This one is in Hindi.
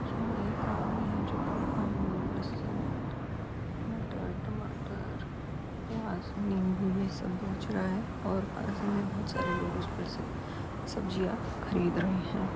यहां एक आदमी है जो कि आलू लहसन मटर टमाटर प्याज नींबू ये सब बेच रहा है और पास ही में बहोत सारे लोग उस पर से सब्जियां खरीद रहे हैं।